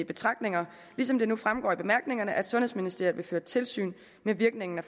betragtninger ligesom det nu fremgår af bemærkningerne at sundhedsministeriet vil føre tilsyn med virkningen af